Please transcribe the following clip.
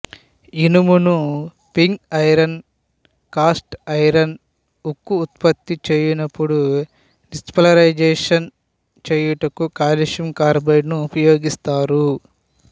ఇనుమును pig iron cast iron ఉక్కు ఉత్పత్తి చేయ్యునపుడు డిసల్ఫరిజేసన్ చెయ్యుటకు కాల్షియం కార్బైడును ఉపయోగిస్తారు